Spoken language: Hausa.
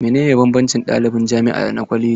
Menene banbancin ɗaliban jami'a da na kwaleji?